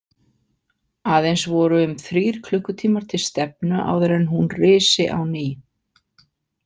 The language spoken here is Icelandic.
Aðeins voru um þrír klukkutímar til stefnu áður en hún risi á ný.